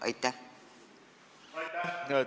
Aitäh!